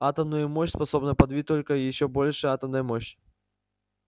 атомную мощь способна подавить только ещё большая атомная мощь